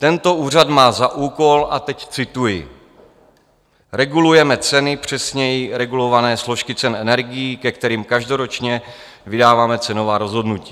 Tento úřad má za úkol - a teď cituji: Regulujeme ceny, přesněji regulované složky cen energií, ke kterým každoročně vydáváme cenová rozhodnutí.